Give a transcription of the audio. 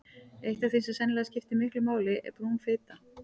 Eitt af því sem sennilega skiptir miklu máli er brún fita.